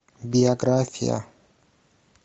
биография